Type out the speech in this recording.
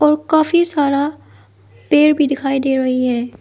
और काफी सारा पेड़ भी दिखाई दे रही है।